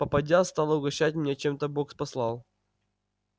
попадья стала угощать меня чем бог послал